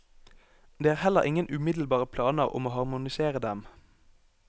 Det er heller ingen umiddelbare planer om å harmonisere dem.